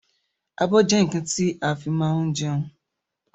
Abọ́ jẹ́ nkan ti a fi máa ń jẹun